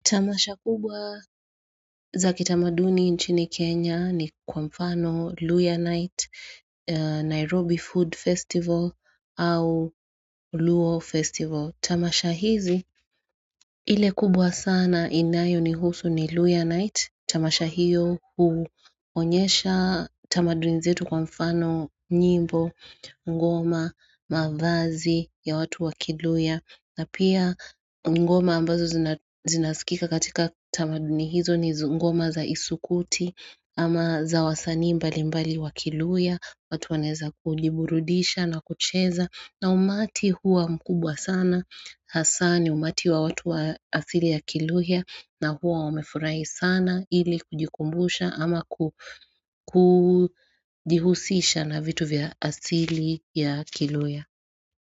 Tamasha kubwa za kitamaduni nchini Kenya ni kwa mfano; Luhya Night, Nairobi Food Festival au Luo Festival. Tamasha hizi, ile kubwa sana inayonihusu ni Luhya Night. Tamasha hiyo huonyesha tamaduni zetu kwa mfano nyimbo, ngoma, mavazi ya watu wakiluhya. Na pia ngoma ambazo zina, zinasikika katika tamaduni hizo ni ngoma za isukuti, ama za wasanii mbali mbali wa kiluhya, watu wanaeza kujiburudisha na kucheza, na umati huwa mkubwa sana, hasa ni umati wa watu wa asili ya kiluhya na huwa wamefurahi sana ili kujikumbusha ama, kujihusisha na vitu vya asili ya kiluhya.